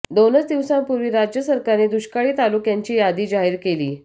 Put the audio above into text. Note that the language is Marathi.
दोनच दिवसांपूर्वी राज्य सरकारने दुष्काळी तालुक्यांची यादी जाहीर केली